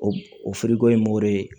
O o ye mori